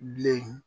Bilen